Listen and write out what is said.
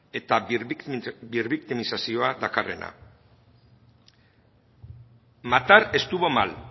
eta berbiktimizazioa dakarrena matar estuvo mal